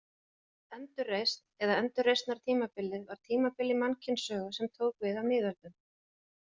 Endurreisn eða endurreisnartímabilið var tímabil í mannkynssögu, sem tók við af miðöldum.